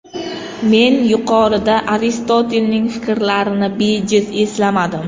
Men yuqorida Aristotelning fikrlarini bejiz eslamadim.